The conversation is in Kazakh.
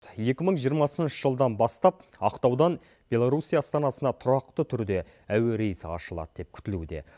екі мың жиырмасыншы жылдан бастап ақтаудан белоруссия астанасына тұрақты түрде әуе рейсі ашылады деп күтілуде